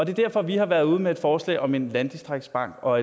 er derfor vi har været ude med et forslag om en landdistriktsbank og